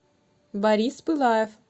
борис пылаев